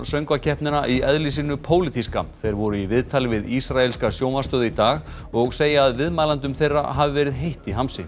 söngvakeppnina í eðli sínu pólitíska þeir voru í viðtali við ísraelska sjónvarpsstöð í dag og segja að viðmælendum þeirra hafi verið heitt í hamsi